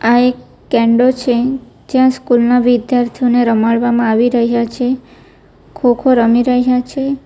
આ એક કેંડો છે જ્યાં સ્કૂલ ના વિદ્યાર્થીઓને રમાડવામાં આવી રહ્યા છે ખોખો રમી રહ્યા છે.